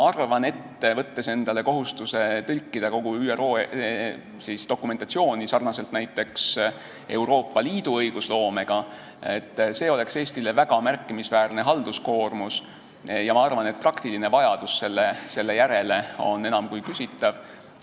Kui võtta endale kohustus tõlkida kogu ÜRO dokumentatsioon, sarnaselt näiteks Euroopa Liidu õigusloome tõlkimisega, siis see oleks Eestile väga märkimisväärne halduskoormus ja ma arvan, et praktiline vajadus selle järele on enam kui küsitav.